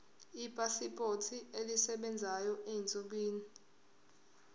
ipasipoti esebenzayo ezinsukwini